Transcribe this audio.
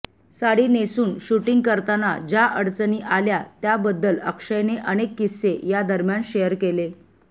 साडी नेसून शूटींग करताना ज्या अडचणी आला त्याबद्दल अक्षयने अनेक किस्से या दरम्यान शेअर केले